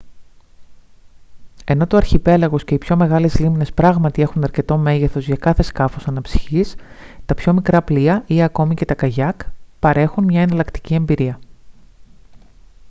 ενώ το αρχιπέλαγος και οι πιο μεγάλες λίμνες πράγματι έχουν αρκετό μέγεθος για κάθε σκάφος αναψυχής τα πιο μικρά πλοία ή ακόμη και τα καγιάκ παρέχουν μια εναλλακτική εμπειρία